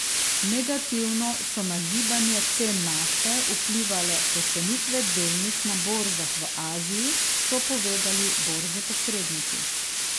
Negativno so na gibanje cen nafte vplivale pocenitve delnic na borzah v Aziji, so povedali borzni posredniki.